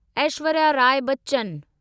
Aishwarya Rai Bachchan